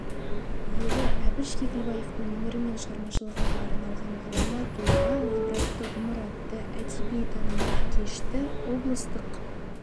ері әбіш кекілбаевтың өмірі мен шығармашылығына арналған ғұлама тұлға ғибратты ғұмыр атты әдеби-танымдық кешті облыстық